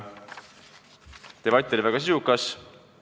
Debatt oli väga sisukas.